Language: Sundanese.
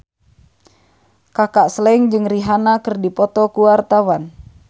Kaka Slank jeung Rihanna keur dipoto ku wartawan